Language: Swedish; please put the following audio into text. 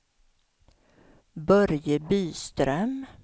Börje Byström